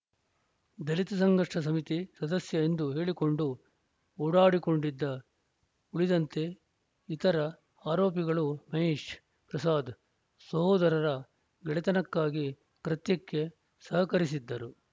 ದಲಿತ ಸಂಘರ್ಷ ಸಮಿತಿ ಸದಸ್ಯ ಎಂದು ಹೇಳಿಕೊಂಡು ಓಡಾಡಿಕೊಂಡಿದ್ದ ಉಳಿದಂತೆ ಇತರ ಆರೋಪಿಗಳು ಮಹೇಶ್‌ ಪ್ರಸಾದ್‌ ಸೋದರರ ಗೆಳೆತನಕ್ಕಾಗಿ ಕೃತ್ಯಕ್ಕೆ ಸಹಕರಿಸಿದ್ದರು